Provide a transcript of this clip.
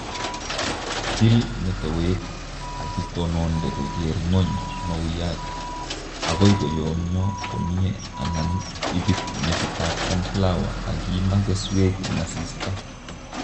Til metowek akitononde koker ng'ony mauyat agoi koyomyo komye anan ibit metitab sunflower akimaa keswek eng asista